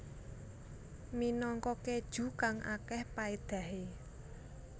Minangka keju kang akeh paedahe